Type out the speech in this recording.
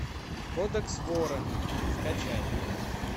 кодекс вора скачай